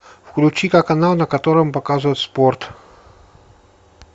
включи ка канал на котором показывают спорт